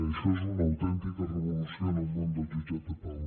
això és una autèntica revolució en el món dels jutjats de pau